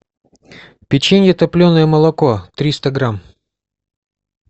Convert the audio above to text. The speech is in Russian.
печенье топленое молоко триста грамм